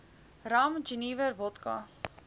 rum jenewer wodka